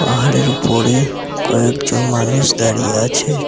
পাহাড়ের উপরে কয়েকজন মানুষ দাঁড়িয়ে আছে।